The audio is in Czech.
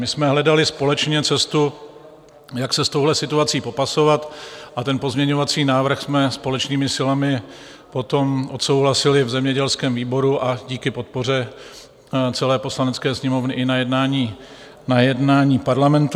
My jsme hledali společně cestu, jak se s touhle situací popasovat, a ten pozměňovací návrh jsme společnými silami potom odsouhlasili v zemědělském výboru a díky podpoře celé Poslanecké sněmovny i na jednání Parlamentu.